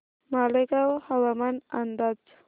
मालेगाव हवामान अंदाज